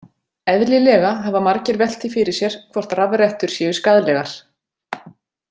Eðlilega hafa margir velt því fyrir sér hvort rafrettur séu skaðlegar.